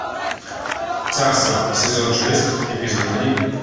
царство сезон шесть эпизод один